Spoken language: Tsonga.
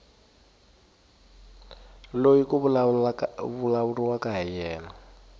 loyi ku vulavuriwaka hi yena